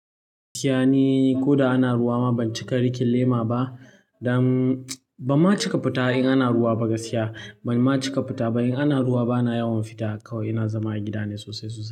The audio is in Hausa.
-Kiyani, ko da ana ruwa ma ban cika riƙin lema ba. Dan ban ma cika fita in ana ruwa ba gaskiya. Ban ma cika fita ba in ana ruwa bana yawan fita. Kawai ina zama a gida ne sosai sosai.